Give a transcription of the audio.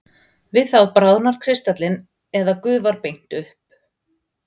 við það bráðnar kristallinn eða gufar beint upp